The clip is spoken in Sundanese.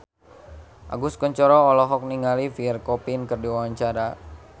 Agus Kuncoro olohok ningali Pierre Coffin keur diwawancara